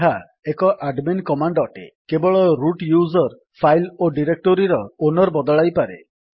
ଏହା ଏକ admin command ଅଟେ କେବଳ ରୁଟ୍ ୟୁଜର୍ ଫାଇଲ୍ ଓ ଡାଇରେକ୍ଟୋରୀର ଓନର୍ ବଦଳାଇପାରେ